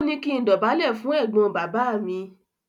Ó ní kí n dọ̀bálẹ̀ fún ẹ̀gbọ́n bàbá mi.